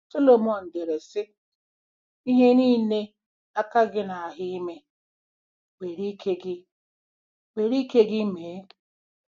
Solomon dere, sị: “Ihe niile aka gị na-ahụ ime, were ike gị were ike gị mee.